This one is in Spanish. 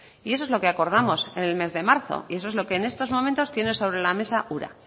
y eso es lo que acordamos en el mes de marzo y eso es lo que en estos momentos tiene sobre la mesa ura